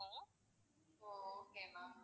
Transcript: O okay ma'am